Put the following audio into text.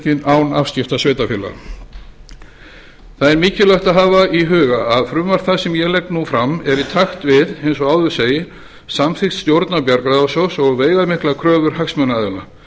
án afskipta sveitarfélaga það er mikilvægt að hafa í huga að frumvarp það sem ég legg nú fram er í takt við eins og áður segir samþykkt stjórnar bjargráðasjóðs og veigamiklar kröfur hagsmunaaðila